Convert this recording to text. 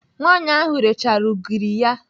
Nwaanyị ahụ rechara ugiri ya.